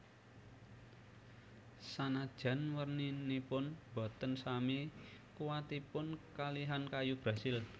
Sanajan werninipun boten sami kuwatipun kalihan kayu brazil